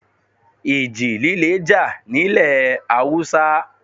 Ìji líle jà nílẹ̀ Haúsá.